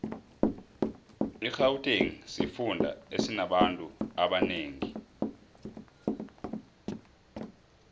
irhawutengi sifunda esinabanfu abanengi